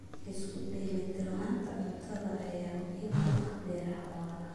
Isku dheelitirnaanta cuntada ayaa muhiim u ah beeraha waara.